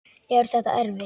Er þetta erfitt?